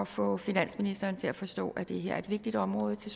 få finansministeren til at forstå at det her er et vigtigt område til